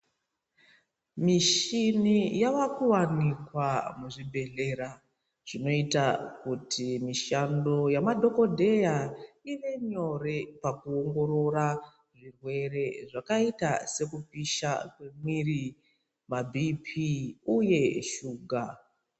Mishini yavakuwanikwa muzvibhehlera zvinoita kuti mishando yamadhokodheya ive nyore pakuongorora zvirwere zvakaita sekupisha kwemwiri, mabhiipii uye shuka.